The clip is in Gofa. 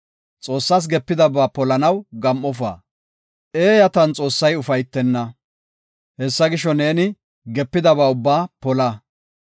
Xoossas gepidaba polanaw gam7ofa; eeyatan Xoossay ufaytenna. Hessa gisho, neeni gepidaba ubbaa pola.